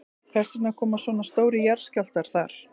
Hvers vegna koma svona stórir jarðskjálftar þar?